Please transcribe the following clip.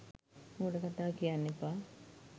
මෝඩ කතා කියන්න එපා.